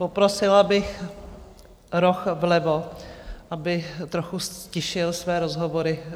Poprosila bych roh vlevo, aby trochu ztišil své rozhovory.